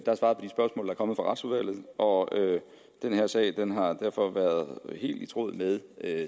kommet fra retsudvalget og den her sag har derfor været helt i tråd med